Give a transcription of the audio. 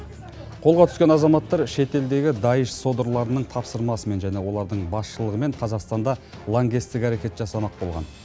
қолға түскен азаматтар шетелдегі даиш содырларының тапсырмасымен және олардың басшылығымен қазақстанда лаңкестік әрекет жасамақ болған